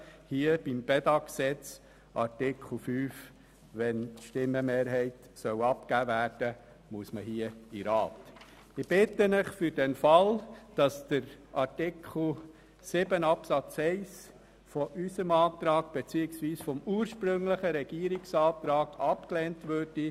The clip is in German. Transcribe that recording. Ich bitte Sie, unserem Eventualantrag zuzustimmen, sollte Artikel 7 Absatz 1 gemäss unserem Antrag beziehungsweise dem ursprünglichen Regierungsantrag abgelehnt werden.